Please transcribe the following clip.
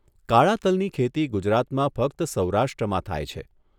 કાળા તલની ખેતી ગુજરાતમાં ફક્ત સૌરાષ્ટ્રમાં થાય છે.